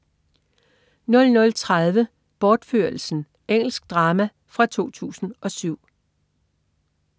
00.30 Bortførelsen. Engelsk drama fra 2007